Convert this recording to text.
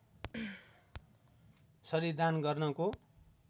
शरीर दान गर्नको